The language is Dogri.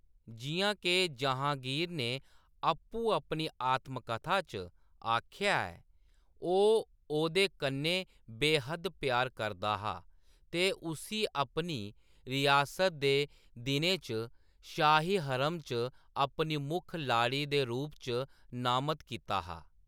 जिʼयां के जहाँगीर ने आपूं अपनी आत्मकथा च आखेआ ऐ, ओह्‌‌ ओह्‌‌‌दे कन्नै बे-हद्द प्यार करदा हा ते उस्सी अपनी रियासत दे दिनें च शाही हरम च अपनी मुक्ख लाड़ी दे रूप च नामत कीता हा।